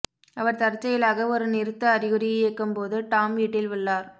அவர் தற்செயலாக ஒரு நிறுத்த அறிகுறி இயக்கும் போது டாம் வீட்டில் உள்ளார்